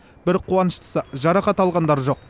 бір қуаныштысы жарақат алғандар жоқ